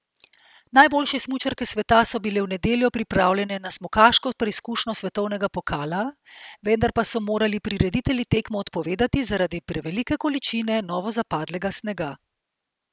Najboljše smučarke sveta so bile v nedeljo pripravljene na smukaško preizkušnjo svetovnega pokala, vendar pa so morali prireditelji tekmo odpovedati zaradi prevelike količine novozapadlega snega.